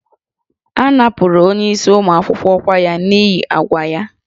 A napụrụ onyeisi ụmụ akwụkwọ ọkwa ya n'ihi àgwà ya